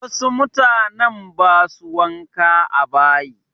Wasu mutanen ba su wanka a bayi.